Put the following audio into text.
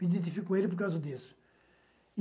Me identifico com ele por causa disso.